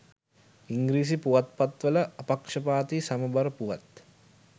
ඉංග්‍රීසි පුවත්පත්වල අපක්ෂපාතී සමබර පුවත්